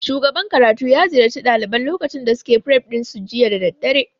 Shugaban karatu ya ziyarci ɗaliban lokacin da suke fref ɗin su jiya da daddare